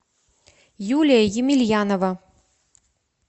юлия емельянова